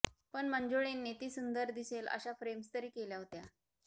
पण मंजुळेंनी ती सुंदर दिसेल अशा फ्रेम्स तरि केल्या होत्या